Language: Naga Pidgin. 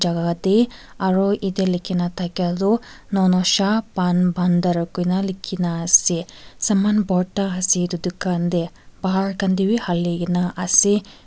aro etey likhina thakia tu nonosha pan bhandhar kuina likhina ase saman bhorta ase itu dukan tey bahar khan tey wi haligena ase.